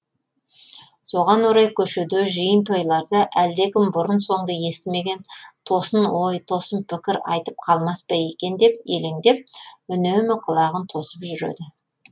соған орай көшеде жиын тойларда әлдекім бұрын соңды естімеген тосын ой тосын пікір айтып қалмас па екен деп елеңдеп үнемі құлағын тосып жүреді